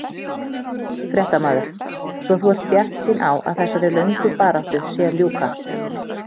Fréttamaður: Svo þú ert bjartsýn á að þessari lögnu baráttu sé að ljúka?